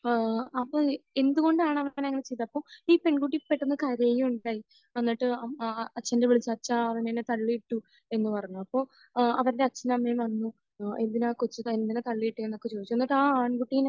ഏഹ് അപ്പോൾ എന്തുകൊണ്ടാണ് അവൻ അങ്ങനെ ചെയ്തത്? അപ്പോൾ ഈ പെൺകുട്ടി പെട്ടെന്ന് കരയുകയും ഉണ്ടായി. എന്നിട്ട് അച്ഛന്റെ അടുത്ത പോയിട്ട് അച്ഛാ, അവൻ എന്നെ തള്ളിയിട്ടു. എന്ന് പറഞ്ഞു. അപ്പോൾ അഹ് അവരുടെ അച്ഛനും അമ്മയും വന്നു. ഏഹ് എന്തിനാണ് കൊച്ചിനെ എന്തിനാ തള്ളിയിട്ടതെന്ന് ചോദിച്ചു. എന്നിട്ട് ആ ആൺകുട്ടിയെ